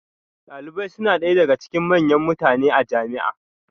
Dalibai suna ɗaya daga cikin manyan mutane a jami'a